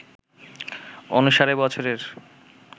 অনুসারে বছরের